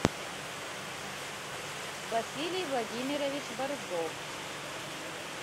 василий владимирович борзов